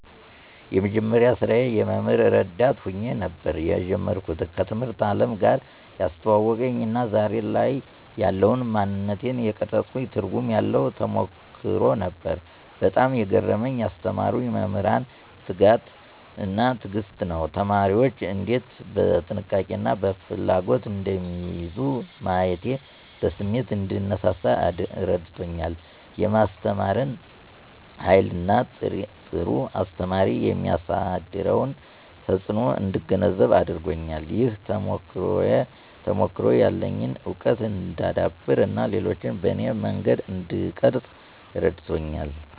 የመጀመሪያ ስራዬ የመምህር ረዳት ሆኜ ነበር የጀመርኩት። ከትምህርት አለም ጋር ያስተዋወቀኝ እና ዛሬ ላይ ያለውን ማንነቴን የቀረፀኝ ትርጉም ያለው ተሞክሮ ነበር። በጣም የገረመኝ ያስተማሩኝ መምህራን ትጋት እና ትዕግስት ነው። ተማሪዎችን እንዴት በጥንቃቄ እና በፍላጎት እንደሚይዙ ማየቴ በስሜት እንድነሳሳ አረድቶኛል። የማስተማርን ሃይልን እና ጥሩ አስተማሪ የሚያሳድረውን ተጽእኖ እንድገነዘብ አድርጎኛል። ይህ ተሞክሮ ያለኝን እውቀት እንዳዳብር እና ሌሎችን በኔ መንገድ እንድቀርፅ እረድቶኛል።